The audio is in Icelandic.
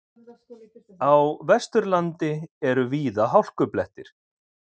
Á Vesturlandi eru víða hálkublettir